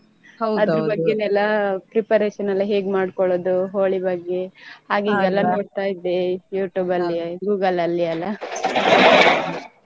ಬಗ್ಗೆನೇ ಎಲ್ಲ preparation ಎಲ್ಲ ಹೇಗ್ ಮಾಡ್ಕೊಳ್ಳುದು ಹೋಳಿ ಬಗ್ಗೆ ನೋಡ್ತಾ ಇದ್ದೇ YouTube ಅಲ್ಲಿ Google ಅಲ್ಲಿ ಎಲ್ಲ .